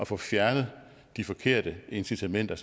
får fjernet de forkerte incitamenter